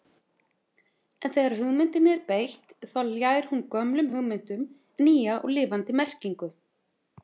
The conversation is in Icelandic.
En þegar hugmyndinni er beitt þá ljær hún gömlum hugmyndum nýja og lifandi merkingu.